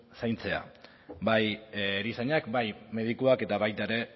zaintzea bai erizainak bai medikuak eta baita ere